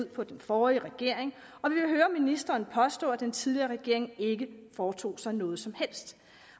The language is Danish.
på den forrige regering og vi vil høre ministeren påstå at den tidligere regering ikke foretog sig noget som helst